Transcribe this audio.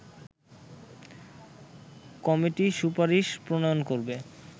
committee সুপারিশ প্রণয়ন করবে